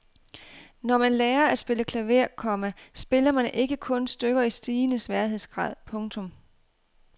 Når man lærer at spille klaver, komma spiller man ikke kun stykker i stigende sværhedsgrad. punktum